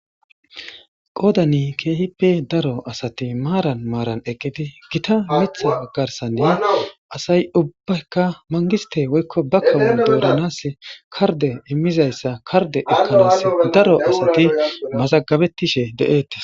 qoodani keehi pe daro asati maaran maaran eqqidi gita mitha garsanni asay ubbakka mangiste woykko ba kawon dooranas karde immizayssa karde ekkanas daro asati mazagabettishe de7eeta